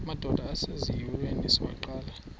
madod asesihialweni sivaqal